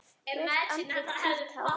Rautt andlit, hvítt hár.